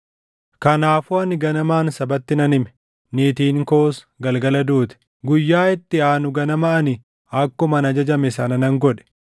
Kanaafuu ani ganamaan sabatti nan hime; niitiin koos galgala duute. Guyyaa itti aanu ganama ani akkuman ajajame sana nan godhe.